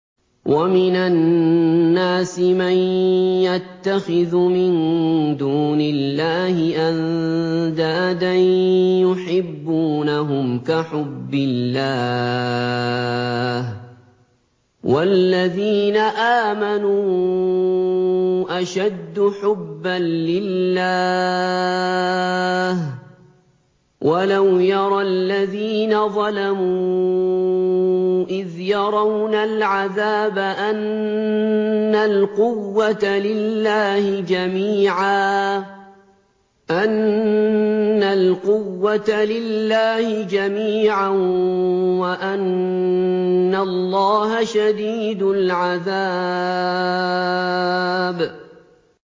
وَمِنَ النَّاسِ مَن يَتَّخِذُ مِن دُونِ اللَّهِ أَندَادًا يُحِبُّونَهُمْ كَحُبِّ اللَّهِ ۖ وَالَّذِينَ آمَنُوا أَشَدُّ حُبًّا لِّلَّهِ ۗ وَلَوْ يَرَى الَّذِينَ ظَلَمُوا إِذْ يَرَوْنَ الْعَذَابَ أَنَّ الْقُوَّةَ لِلَّهِ جَمِيعًا وَأَنَّ اللَّهَ شَدِيدُ الْعَذَابِ